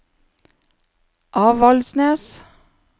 Avaldsnes